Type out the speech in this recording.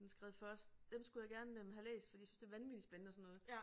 Den er skrevet først dem skulle jeg gerne øh have læst fordi jeg synes det vanvittig spændende og sådan noget